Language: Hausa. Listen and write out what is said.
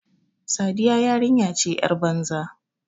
Sadiya yarinya ce yar banza.